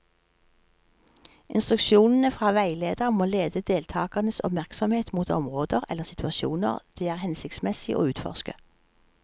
Instruksjonene fra veileder må lede deltakernes oppmerksomhet mot områder eller situasjoner det er hensiktsmessig å utforske.